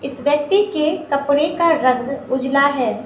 इस व्यक्ति के कपड़े का रंग उजला है।